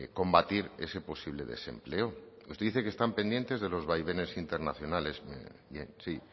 combatir ese posible desempleo usted dice que están pendientes de los vaivenes internacionales bien sí